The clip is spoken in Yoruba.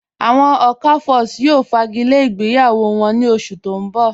Awọn Okafors yóò fágílẹ̀ ìgbéyàwó wọn ní ọ̀ṣù tó n bọ̀.